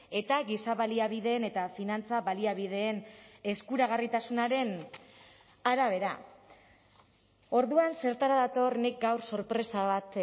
eta giza baliabideen eta finantza baliabideen eskuragarritasunaren arabera orduan zertara dator nik gaur sorpresa bat